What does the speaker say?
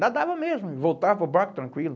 Nadava mesmo, voltava para o barco tranquilo.